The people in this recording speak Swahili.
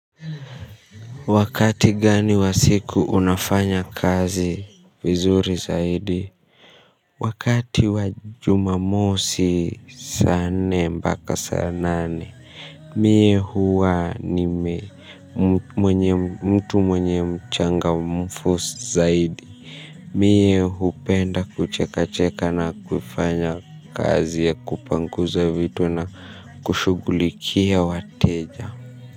Wakati gani wa siku unafanya kazi vizuri zaidi wakati wa Jumamosi saa nne mpaka saa nane. Miye huwa ni mtu mwenye mchangamfu zaidi. Miye hupenda kucheka cheka na kufanya kazi ya kupanguza vitu na kushugulikia wateja.